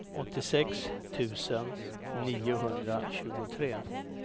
åttiosex tusen niohundratjugotre